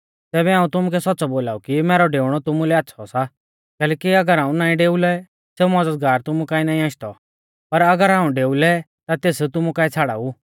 तैबै हाऊं तुमुकै सौच़्च़ौ बोलाऊ कि मैरौ डेऊणौ तुमुलै आच़्छ़ौ सा कैलैकि अगर हाऊं नाईं डेउलै सेऊ मज़दगार तुमु काऐ नाईं आशदौ पर अगर हाऊं डेऊ लै ता तेस तुमु काऐ छ़ाड़ाऊ